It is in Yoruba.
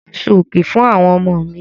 Mo ra àṣọ̀-òkè fún àwọn ọmọ mi.